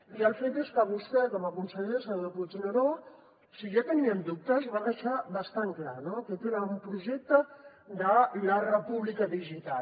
i el fet és que vostè com a conseller senyor puigneró si ja teníem dubtes en ho va deixar bastant clar no aquest era un projecte de la república digital